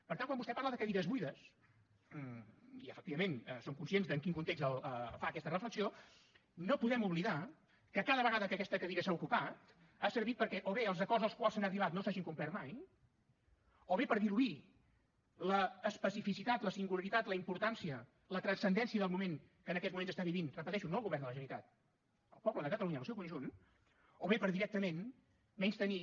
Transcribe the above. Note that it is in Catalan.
per tant quan vostè parla de cadires buides i efectivament som conscients de en quin context fa aquesta reflexió no podem oblidar que cada vegada que aquesta cadira s’ha ocupat ha servit perquè o bé els acords als quals s’han arribat no s’hagin complert mai o bé per diluir l’especificitat la singularitat la importància la transcendència del moment que en aquests moments està vivint ho repeteixo no el govern de la generalitat sinó el poble de catalunya en el seu conjunt o bé per directament menystenir